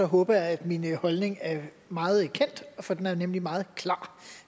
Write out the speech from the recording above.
håber jeg at min holdning er meget kendt for den er nemlig meget klar